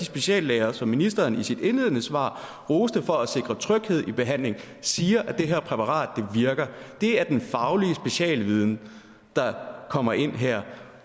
speciallæger som ministeren i sit indledende svar roste for at sikre tryghed i behandlingen siger at det her præparat virker det er den faglige specialviden der kommer ind her